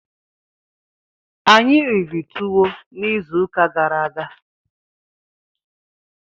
Anyị riri tuwo izu ụka gara aga.